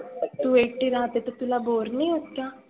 तु एकटी राहते तर तुला बोर नाही होत का?